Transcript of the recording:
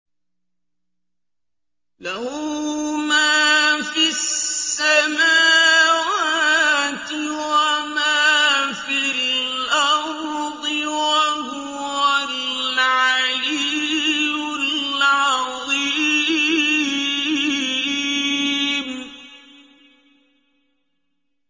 لَهُ مَا فِي السَّمَاوَاتِ وَمَا فِي الْأَرْضِ ۖ وَهُوَ الْعَلِيُّ الْعَظِيمُ